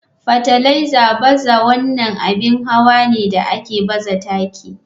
Fartiliser bazawa wannan abin hawa ne da ke baza taki.